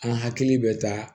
An hakili bɛ taa